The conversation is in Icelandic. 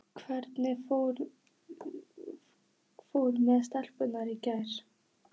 Hvernig fór með stelpuna í gær?